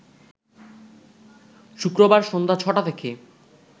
শুক্রবার সন্ধ্যা ছ’টা থেকে